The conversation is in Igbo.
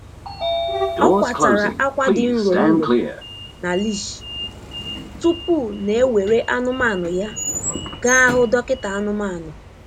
Ọ kwatara akwa dị nro nro na leash tupu na ewere anụmanụ ya gaa hụ dọkịta anụmanụ.